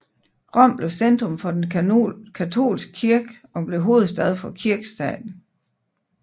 Rom blev centrum for den katolske kirke og blev hovedstad for Kirkestaten